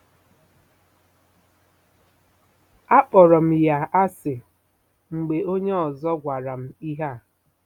Akpọrọ m ya asị mgbe onye ọzọ gwara m ihe a. ”